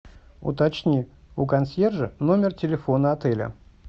уточни у консьержа номер телефона отеля